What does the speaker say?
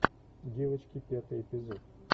девочки пятый эпизод